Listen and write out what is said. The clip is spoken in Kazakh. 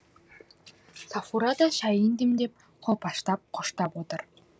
сафура да шәйін демдеп қолпаштап қоштап отыр